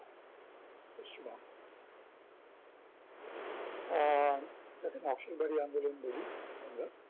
আহ যাকে নকশাল বাড়ি আন্দোলন বলি আমরা